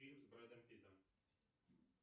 фильм с брэдом питтом